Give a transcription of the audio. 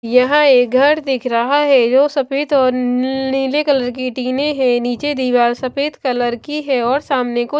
यहाँ एक घर दिख रहा है जो सफेद और नीले कलर की टीने है नीचे दीवार सफेद कलर की है और सामने को --